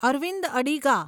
Arvind Adiga